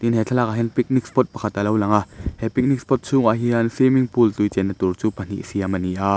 he thlalakah hian picnic spot pakhat a lo lang a he picnic spot chhungah hian swimming pool tui chenna tur chu pahnih siam a ni a.